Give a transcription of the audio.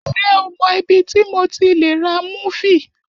Ṣé o mọ ibi tí mo ti lè ra múfì?